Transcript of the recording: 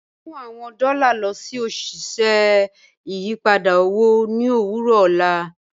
Mu awọn dọ́lá lọ sí oṣiṣẹ́ ìyìpadà owo ni owurọ ọlá